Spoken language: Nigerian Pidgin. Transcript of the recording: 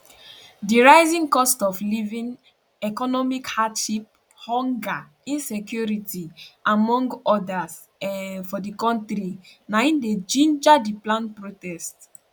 di rising cost of living economic hardship hunger insecurity among odas um for di kontri na im dey ginger di planned protest